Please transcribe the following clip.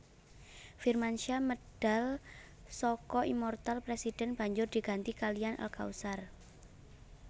Firmansyah medal saka Immoortal President banjur diganti kaliyan Al Kautsar